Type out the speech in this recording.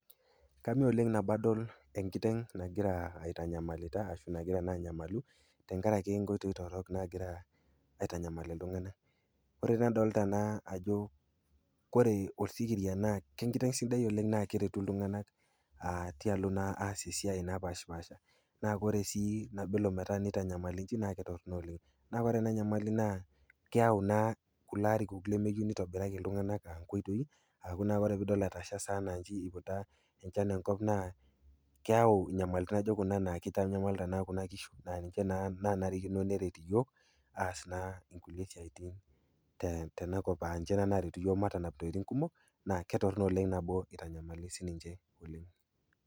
Kame oleng tenadol enkiteng nagira aitanyamalita ashu nagira naa anyamalu tenkarake inkoitoi torrok nagira aitanyamal iltung'ana ore nadolita ajo ore osikira naa kenkiteng sidai oleng naa keretu iltung'ana tialo naa aas esiai napaashipaasha naa ore sii nabo elo neitanyamaliki naa ketorono oleng. Naa ore ena nyamali naa keau kulo arikok lemeyeu neitobiriraki iltung'ana nkoitoi ore pidol etasha sai anaa inchi eiputa enchan enkop naa keyau inyamalitin naijo kuna naa keitanyamalita naa kuna kishu na ninche naa kenarikino neret iyook aas naa kulie siaitin tenakop aninche naa naretu iyook matanap intokitin kumok naa ketorrono oleng nabo naa eitanyamali sininche oleng.